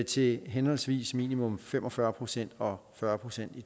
til henholdsvis minimum fem og fyrre procent og fyrre procent i